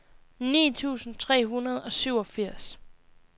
ni tusind tre hundrede og syvogfirs